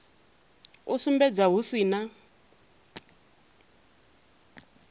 u sumbedza hu si na